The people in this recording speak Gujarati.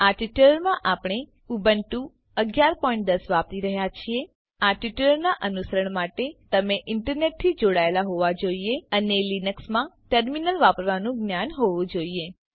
આ ટ્યુટોરીયલ માટે આપણે ઉબુન્ટુ 1110 વાપરી રહ્યા છીએ આ ટ્યુટોરીયલનાં અનુસરણ માટે તમે ઈન્ટરનેટથી જોડાયેલા હોવા જોઈએ અને લીનક્સમાં ટર્મીનલ વાપરવાનું જ્ઞાન હોવું જોઈએ